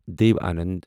Dev Anand